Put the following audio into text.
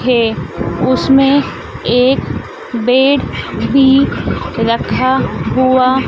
है उसमें एक बेड भी रखा हुआ--